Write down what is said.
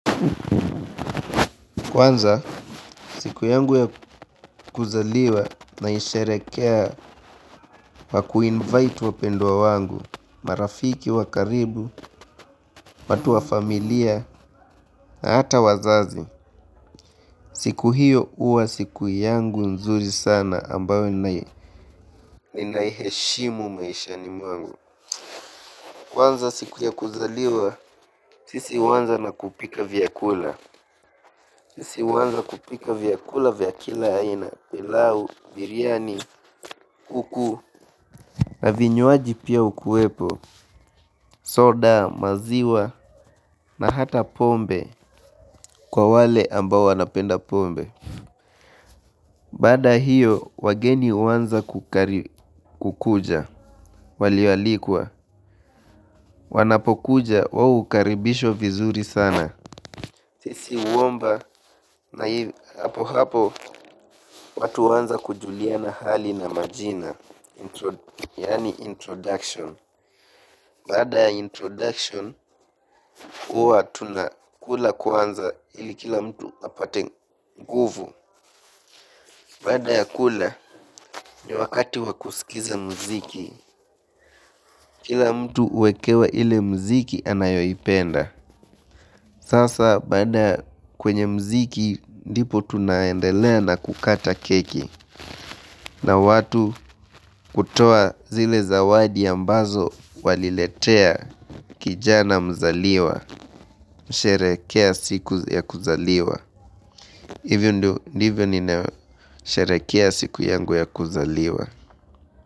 Kwanza siku yangu ya kuzaliwa naisherekea kwa ku invite wapendwa wangu, marafiki wa karibu, watu wa familia hata wazazi. Siku hiyo uwa siku yangu nzuri sana ambayo ninaiheshimu maishani mwangu. Kwanza siku ya kuzaliwa, sisi huanza na kupika vyakula, sisi huanza kupika vyakula vya kila aina, pilau, biriani, kuku. Na vinywaji pia ukuwepo, soda, maziwa, na hata pombe kwa wale ambao wanapenda pombe. Baada ya hiyo, wageni huanza kukuja, walio alikwa, wanapokuja wao ukaribishwa vizuri sana. Sisi huomba hapohapo watu huanza kujuliana hali na majina, yaani introduction. Baada ya introduction huwa tunakula kwanza ili kila mtu apate nguvu. Baada ya kula ni wakati wakusikiza mziki. Kila mtu uwekewa ile mziki anayoipenda. Sasa baada kwenye mziki ndipo tunaendelea na kukata keki. Na watu kutoa zile zawadi ambazo waliletea kijana mzaliwa, sherekea siku ya kuzaliwa. Hivyo ndio ndivyo ninasherekea siku yangu ya kuzaliwa.